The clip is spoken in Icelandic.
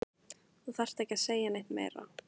Þú þarft ekki að segja neitt meira